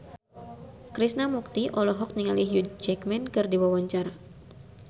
Krishna Mukti olohok ningali Hugh Jackman keur diwawancara